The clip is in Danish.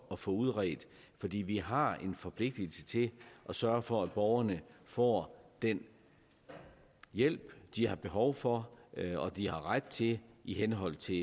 at få udredt fordi vi har en forpligtelse til at sørge for at borgerne får den hjælp de har behov for og de har ret til i henhold til